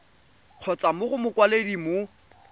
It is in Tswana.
kgotsa mo go mokwaledi mo